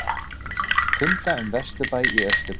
Funda um vesturbæ í austurbæ